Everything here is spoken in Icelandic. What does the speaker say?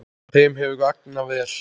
Þeim hefur vegnað vel.